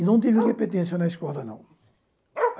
E não tive repetência na escola, não.